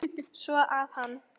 Svo að hann.